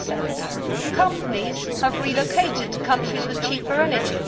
4. Companies have relocated to countries with cheaper energy.